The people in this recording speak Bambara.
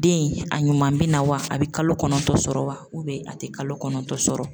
Den a ɲuman bɛ na wa, a bɛ kalo kɔnɔntɔn sɔrɔ wa a tɛ kalo kɔnɔntɔn sɔrɔ